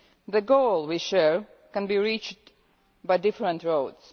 The goal we share can be reached by different roads.